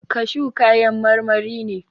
Kashu kayan marmari ne.